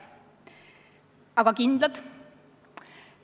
Aga kas ka kindlad?